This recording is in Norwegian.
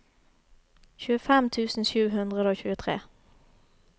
tjuefem tusen sju hundre og tjuetre